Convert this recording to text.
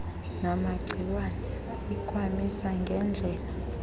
namagciwane ikwamisa ngedlela